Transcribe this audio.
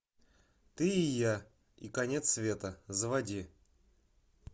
ты и я и конец света заводи